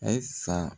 Ayisa